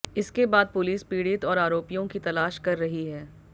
इसके बाद पुलिस पीड़ित और आरोपियों की तलाश कर रही है